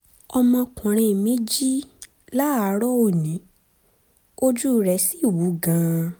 ọmọkùnrin mi jí láàárọ̀ òní ojú rẹ̀ sì wú gan-an